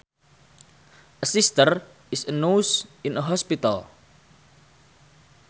A sister is a nurse in a hospital